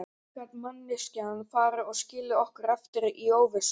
Hvernig gat manneskjan farið og skilið okkur eftir í óvissu?